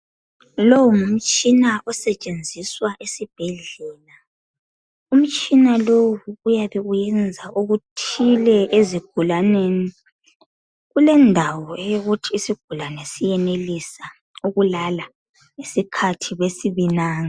Longumtshina osetshenziswa esibhedlela, umtshina lo uyabe uyenza okuthile ezigulaneni. Kulendawo eyokuthi siyabe siyenelisa ukulala ngesikhathi besibinanga.